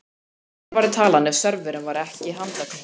Hver væri talan ef serverinn væri ekki handknúinn?